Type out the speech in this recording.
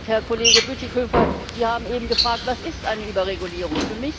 Herr Kollege Bütikofer, Sie haben eben gefragt Was ist eine Überregulierung?